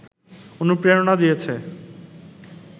অনুপ্রেরণা দিয়েছে